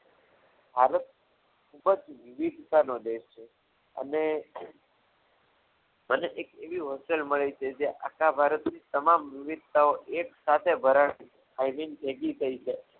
ભારત ખૂબ જ વિવિધતાનો દેશ છે અને મને એવી એક hostel મળી હતી કે જ્યાં આખા ભારતની તમામ વિવિધતાઓ એક સાથે ભરણ આઈ મીન ભેગી થઈ છે.